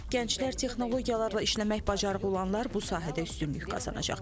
Gənclər texnologiyalarla işləmə bacarığı olanlar bu sahədə üstünlük qazanacaq.